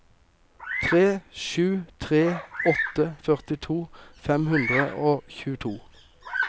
tre sju tre åtte førtito fem hundre og tjueto